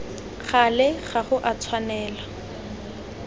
gale ga go a tshwanela